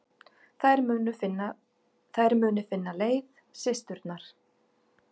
Þær muni finna leið, systurnar.